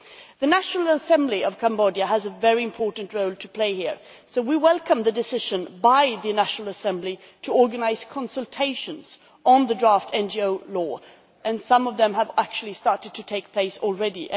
The National Assembly of Cambodia has a very important role to play here, so we welcome the decision by the National Assembly to organise consultations on the draft NGO law, and some of these have actually started to take place already.